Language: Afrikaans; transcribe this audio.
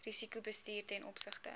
risikobestuur ten opsigte